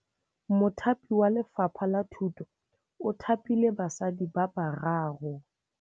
Mothapi wa Lefapha la Thutô o thapile basadi ba ba raro.